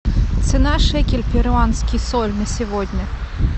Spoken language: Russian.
цена шекель перуанский соль на сегодня